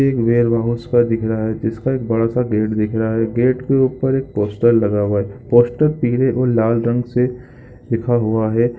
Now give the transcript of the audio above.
एक warehouse का दिख रहा है जिसका एक बड़ा सा गेट दिख रहा है गेट के एक ऊपर एक पोस्टर लगा हुआ है पोस्टर पिले और लाल रंग से लिखा हुआ हैं।